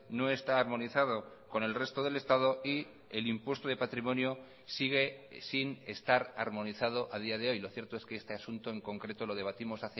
no está armonizado con el resto del estado y el impuesto de patrimonio sigue sin estar armonizado a día de hoy lo cierto es que este asunto en concreto lo debatimos